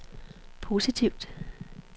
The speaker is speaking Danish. positivt